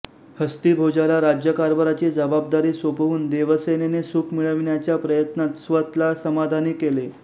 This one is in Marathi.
हस्तिभोजाला राज्यकारभाराची जबाबदारी सोपवून देवसेनने सुख मिळविण्याच्या प्रयत्नात स्वत ला समाधानी केले